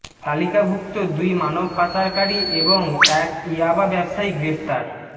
তালিকাভুক্ত দুই মানব পাচারকারী এবং এক ইয়াবা ব্যবসায়ী গ্রেপ্তার